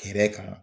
Hɛrɛ kan